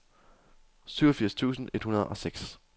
syvogfirs tusind et hundrede og seks